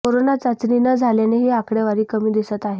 corona चाचणी न झाल्याने ही आकडेवारी कमी दिसत आहे